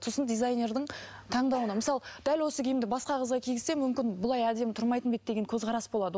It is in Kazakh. сосын дизайнердің таңдауына мысалы дәл осы киімді басқа қызға кигізсе мүмкін бұлай әдемі тұрмайтын ба еді деген көзқарас болады